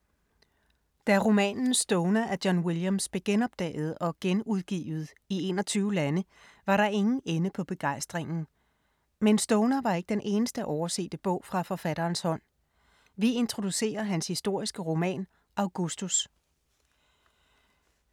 Da romanen Stoner af John Williams blev genopdaget og genudgivet i 21 lande, var der ingen ende på begejstringen. Men Stoner var ikke den eneste oversete bog fra forfatterens hånd. Vi introducerer hans historiske roman Augustus.